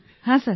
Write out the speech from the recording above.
হ্যাঁ স্যার